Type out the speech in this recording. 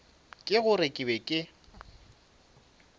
ke gore ke be ke